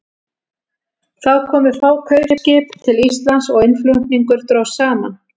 Þá komu fá kaupskip til Íslands og innflutningur dróst saman.